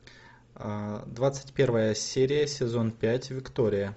двадцать первая серия сезон пять виктория